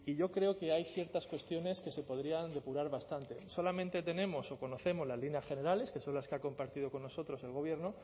yo creo que hay ciertas cuestiones que se podrían depurar bastante solamente tenemos o conocemos las líneas generales que son las que ha compartido con nosotros el gobierno